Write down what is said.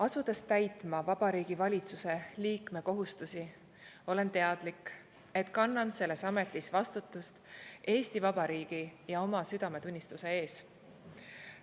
Asudes täitma Vabariigi Valitsuse liikme kohustusi, olen teadlik, et kannan selles ametis vastutust Eesti Vabariigi ja oma südametunnistuse ees.